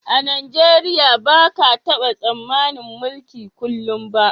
A Najeriya ba ka taba tsammanin mulki kullum ba